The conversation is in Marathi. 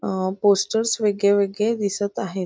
अह पोस्टर्स वेगळेवेगळे दिसत आहेत.